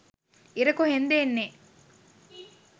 ඉර කොහෙන් ද එන්නේ